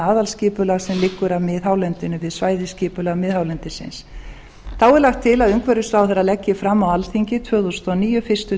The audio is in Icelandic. sem liggur að miðhálendinu við svæðisskipulag miðhálendisins þá er lagt til að umhverfisráðherra leggi fram á alþingi tvö þúsund og níu fyrstu